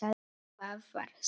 Það var skítt.